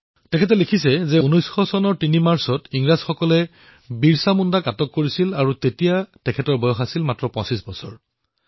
তেখেতে লিখিছে যে ১৯০০ চনত ৩ মাৰ্চ তাৰিথে ইংৰাজসকলে বিৰছা মুণ্ডাক গ্ৰেপ্তাৰ কৰিছিল আৰু তেতিয়া তেওঁৰ বয়স মাত্ৰ ২৫ বছৰ আছিল